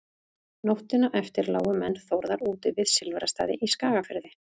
nóttina eftir lágu menn þórðar úti við silfrastaði í skagafirði